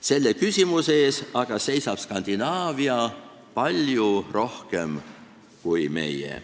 Selle küsimuse ees aga seisab Skandinaavia palju rohkem kui meie.